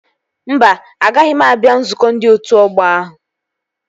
Mba, agaghị m abịa nzukọ ndị otu ọgbọ ahụ